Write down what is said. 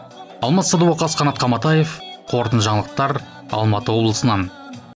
алмас садуақас қанат қаматаев қорытынды жаңалықтар алматы облысынан